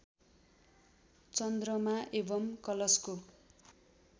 चन्द्रमा एवम् कलशको